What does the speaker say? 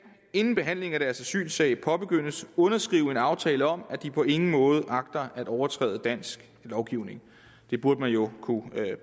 inden behandlingen af deres asylsag påbegyndes underskrive en aftale om at de på ingen måde agter at overtræde dansk lovgivning det burde man jo kunne